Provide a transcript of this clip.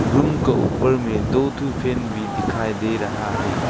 Room का ऊपर में दो ठो फैन भी दिखाई दे रहा है।